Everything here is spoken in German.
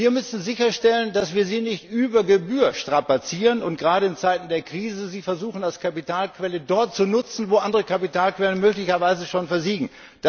Wir müssen sicherstellen, dass wir sie nicht über Gebühr strapazieren, und gerade in Zeiten der Krise versuchen, sie als Kapitalquelle dort zu nutzen, wo andere Kapitalquellen möglicherweise schon versiegen.